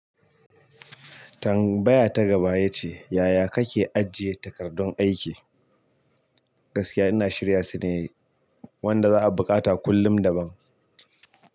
Tambaya ta gaba ya ce, "Yaya kake ajiye takardun aiki?" Gaskiya ina shirya su de wanda za'a buƙata kullum daban.